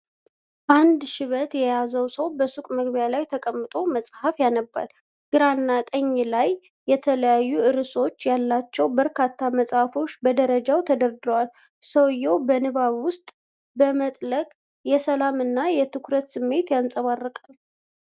አንድ ሽበት የያዘው ሰው በሱቅ መግቢያ ላይ ተቀምጦ መጽሐፍ ያነባል። ግራና ቀኝ ላይ የተለያዩ ርዕሶች ያሏቸው በርካታ መጽሐፎች በደረጃ ተደርድረዋል። ሰውየው በንባብ ውስጥ በመጥለቅ የሰላም እና የትኩረት ስሜት ያንጸባርቃል።